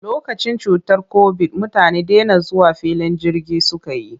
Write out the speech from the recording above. Lokacin cutar kobid, mutane dena zuwa filin jirgi suka yi.